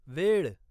वेळ